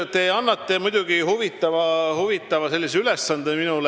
Te annate mulle huvitava ülesande.